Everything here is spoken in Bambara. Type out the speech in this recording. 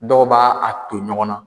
Dɔw b'a a ton. ɲɔgɔn na